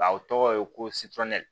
A o tɔgɔ ye ko